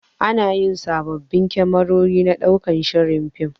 Anayi sababbin kamerori na ɗaukar shirin fim